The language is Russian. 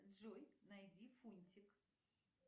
джой найди фунтик